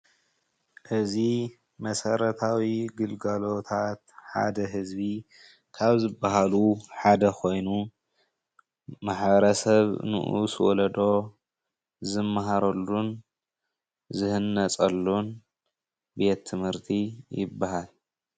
እዚ መሰረታዊ ግልጋሎታት ሓደ ህዝቢ ካብ ዝባሃሎ ሓደ ኮይኑ ማሕበረ ሰብ ንኡስ ወለዶ ዝመሃረሉን ዝህነፀሉን ቤት ትምህርቲ ይባሃል፡፡